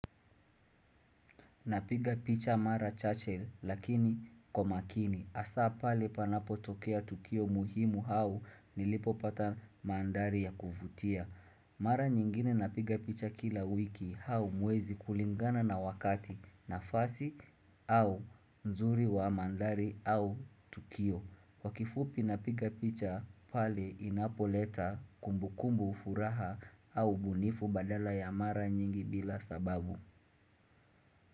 Napiga picha mara chache lakini kwa makini. Hasa pale panapotokea tukio muhimu au nilipopata mandhari ya kuvutia. Mara nyingine napiga picha kila wiki au mwezi kulingana na wakati nafasi au nzuri wa mandhari au tukio. Kwa kifupi napiga picha pale inapoleta kumbukumbu furaha au ubunifu badala ya mara nyingi bila sababu.